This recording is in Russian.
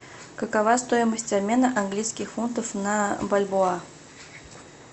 какова стоимость обмена английских фунтов на бальбоа